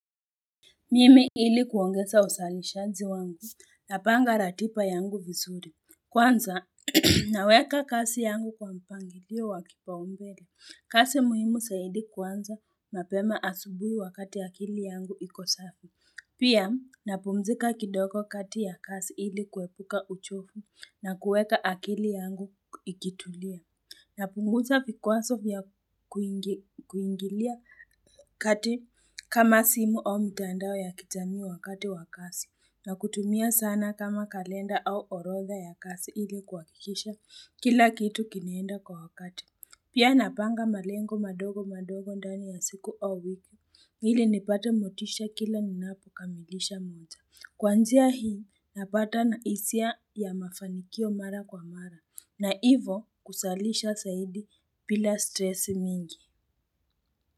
Mimi ili kuongeza usali shanzi wangu, na panga ratiba yangu vizuri. Kwanza, naweka kazi yangu kwa mpangilio wakipau mbele. Kazi muhimu zaidi kuanza, mapema asubuhi wakati akili yangu iko sawa. Pia, napumzika kidogo kati ya kazi ili kuepuka uchovu na kuweka akili yangu ikitulia. Na punguza vikwazo vya kuingilia kati kama simu au mitandao ya kijamii wa wakati wa kazi na kutumia sana kama kalenda au orodha ya kazi ili kuhakikisha kila kitu kinaenda kwa wakati. Pia napanga malengo madogo madogo ndani ya siku au wiki ili nipate motisha kila ninapo kamilisha moja Kwa njia hii napata hisia ya mafanikio mara kwa mara na hivo kusalisha zaidi bila stresi mingi.